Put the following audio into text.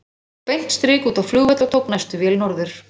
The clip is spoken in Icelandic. Fór svo beint strik út á flugvöll og tók næstu vél norður.